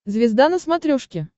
звезда на смотрешке